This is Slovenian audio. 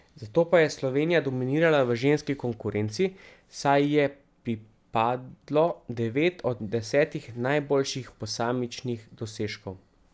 Zato pa je Slovenija dominirala v ženski konkurenci, saj ji je pripadlo devet od desetih najboljših posamičnih dosežkov.